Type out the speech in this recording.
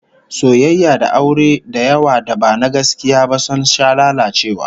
Soyayya da aure da yawa da ba na gaskiya ba sun sha lalacewa